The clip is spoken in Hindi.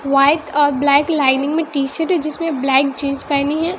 व्हाइट और ब्लैक लाइनिंग में टी शर्ट है जिसमें ब्लैक जींस पेहनी है।